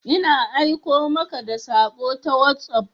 Ina aiko muka da sako ta WhatsApp.